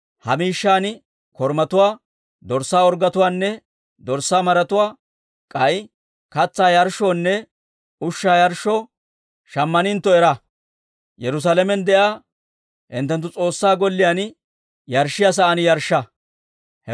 Ha miishshan korumatuwaa, dorssaa orggetuwaanne dorssaa maratuwaa, k'ay katsaa yarshshoonne ushshaa yarshshoo shammanentto era, Yerusaalamen de'iyaa hinttenttu S'oossaa Golliyaan yarshshiyaa sa'aan yarshsha.